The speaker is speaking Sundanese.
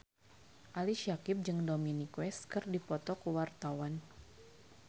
Ali Syakieb jeung Dominic West keur dipoto ku wartawan